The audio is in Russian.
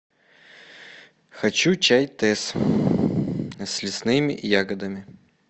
хочу чай тесс с лесными ягодами